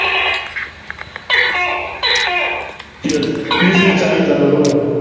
Yes वीस, वीस चाळीस जाणार.